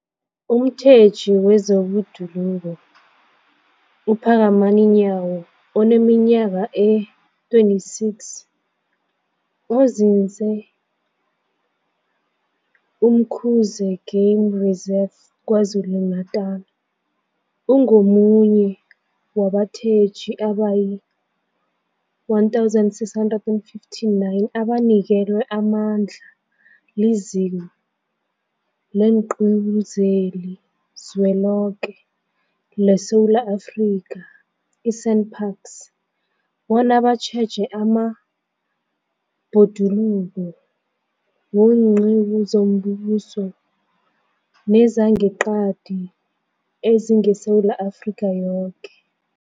Umtjheji wezeBhoduluko uPhakamani Nyawo oneminyaka ema-26, onzinze e-Umkhuze Game Reserve KwaZulu-Natala, ungomunye wabatjheji abayi-1 659 abanikelwe amandla liZiko leenQiwu zeliZweloke leSewula Afrika, i-SANParks, bona batjheje amabhoduluko weenqiwu zombuso nezangeqadi ezingeSewula Afrika yoke.